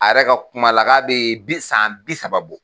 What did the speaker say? A yɛrɛ ka kuma la k'a bɛ bi san bi saba bɔ